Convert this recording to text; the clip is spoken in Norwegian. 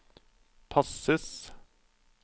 passes